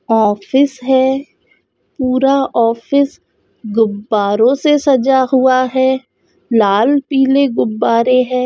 Office है पूरा office गुब्बारे से सजा हुआ है लाल पिले गुब्बारे है।